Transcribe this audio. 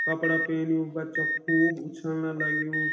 कपड़ा पैन्यु बच्चा कु खूब उछलना लग्युं।